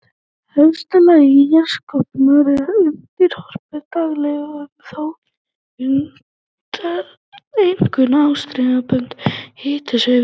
Efsta lag jarðskorpunnar er undirorpið daglegum og þó einkum árstíðabundnum hitasveiflum.